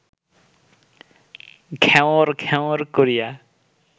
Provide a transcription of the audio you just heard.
ঘ্যাঁওর ঘ্যাঁওর করিয়া